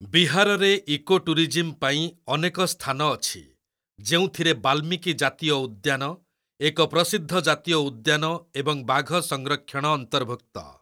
ବିହାରରେ ଇକୋଟୁରିଜିମ୍ ପାଇଁ ଅନେକ ସ୍ଥାନ ଅଛି, ଯେଉଁଥିରେ ବାଲ୍ମିକି ଜାତୀୟ ଉଦ୍ୟାନ, ଏକ ପ୍ରସିଦ୍ଧ ଜାତୀୟ ଉଦ୍ୟାନ ଏବଂ ବାଘ ସଂରକ୍ଷଣ ଅନ୍ତର୍ଭୁକ୍ତ।